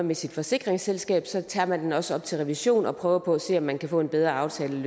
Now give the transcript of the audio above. med sit forsikringsselskab tager tager man også op til revision og prøver på at se om man kan få en bedre aftale